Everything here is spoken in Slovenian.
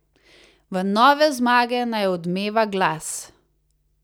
V nove zmage naj odmeva glas.